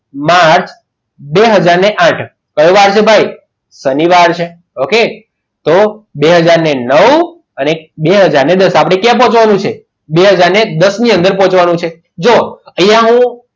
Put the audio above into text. March બે હાજર આઠ બરાબર છે ભાઈ કયો વાર છે ભાઈ શનિવાર છે ઓકે તો બે હાજર નવ અને બે હાજર દસ આપણે ક્યાં પહોંચવાનું છે બે હાજર દસ ની અંદર પહોંચવાનું છે જો અહીંયા હું